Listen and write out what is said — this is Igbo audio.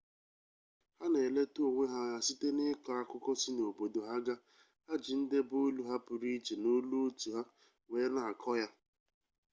ha na-eleta onwe ha anya site n'ịkọ akụkọ si n'obodo ha ga ha ji ndebeolu ha pụrụ iche na olu otu ha wee na-akọ ya